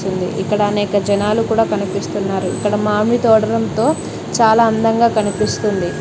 ఉంది ఇక్కడ అనేక జనాలు కూడా కనిపిస్తున్నారు ఇక్కడ మామిడి తోడనం తో చాలా అందంగా కనిపిస్తుంది.